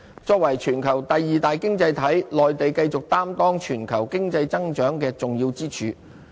作為全球第二大經濟體，內地繼續擔當全球經濟增長的重要支柱。